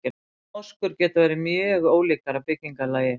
Moskur geta verið mjög ólíkar að byggingarlagi.